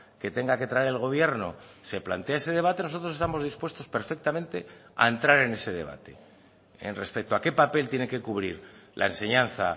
que tenga que traer el gobierno se plantea ese debate nosotros estamos dispuestos perfectamente a entrar en ese debate en respecto a qué papel tiene que cubrir la enseñanza